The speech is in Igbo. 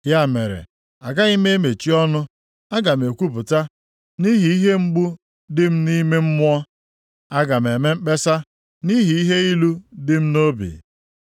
“Ya mere agaghị m emechi ọnụ; aga m ekwupụta nʼihi ihe mgbu dị m nʼime mmụọ. Aga m eme mkpesa nʼihi ihe ilu dị m nʼobi.